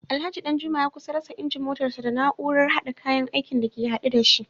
Alhaji Danjuma ya kusa rasa injin motarsa ​​da na’urar hada kayan aikin da ke hade da shi